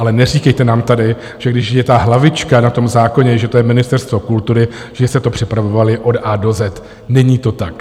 Ale neříkejte nám tady, že když je ta hlavička na tom zákoně, že to je Ministerstvo kultury, že jste to připravovali od A do Z. Není to tak.